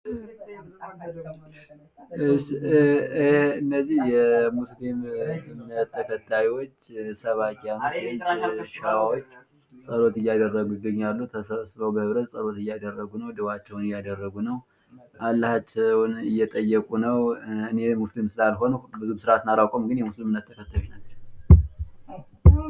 እነዚህ የእስልምና እምነት ተከታዮች ሰባኪያን ሰዎች ጸሎት እያደረጉ ይገኛሉ። ተሰባስበው ጸሎት እያደረጉ ነው። ዱአ እአደረጉ ነው። አላህን እየጠየቁ ነው። እኔ ሙስሊም ስላልሆኑ ብዙ ስርአቱን አላውቀውም።